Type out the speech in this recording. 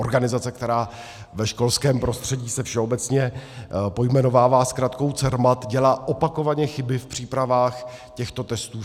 organizace, která ve školském prostředí se všeobecně pojmenovává zkratkou CERMAT, dělá opakovaně chyby v přípravách těchto testů.